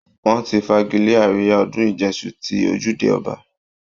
Wọ́n ti fagilé àríyá ọdún ìjẹṣu ti ojúde ọba